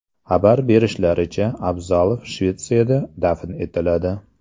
Xabar berishlaricha, Abzalov Shvetsiyada dafn etiladi .